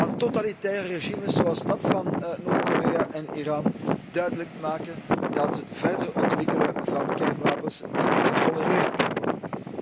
aan totalitaire regimes zoals dat van Noord Korea en Iran duidelijk maken dat het verder ontwikkelen van kernwapens niet getolereerd kan worden.